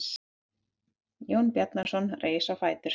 Jón Bjarnason reis á fætur.